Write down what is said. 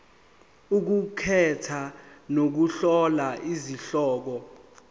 ukukhetha nokuhlola izihloko